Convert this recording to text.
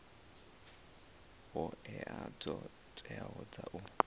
hoea dzo teaho dza u